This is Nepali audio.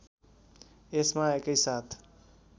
यसमा एकैसाथ